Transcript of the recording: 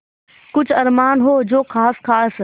कुछ अरमान हो जो ख़ास ख़ास